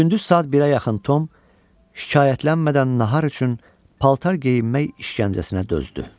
Gündüz saat birə yaxın Tom şikayətlənmədən nahar üçün paltar geyinmək işgəncəsinə dözdü.